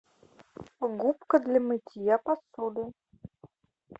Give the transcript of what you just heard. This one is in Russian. губка для мытья посуды